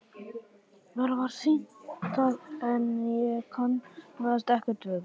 Mér var sýnt það en ég kannaðist ekkert við það.